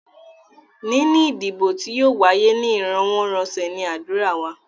Níní ìdìbò tí yóò wáyé ní íròwọ́rọ̀sẹ̀ ní ádùrá wa.